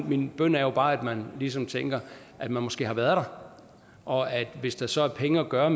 min bøn er jo bare at man ligesom tænker at man måske har været der og at hvis der så er penge at gøre